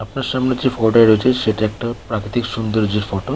আপনার সামনে যে ফটো টা রয়েছে সেটা একটা প্রাকৃতিক সৌন্দর্যের ফটো ।